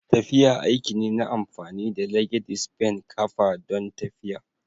Tafiya aiki ne na amfani da (legedis ben) kafa don tafiya.